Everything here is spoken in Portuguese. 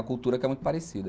A cultura que é muito parecida.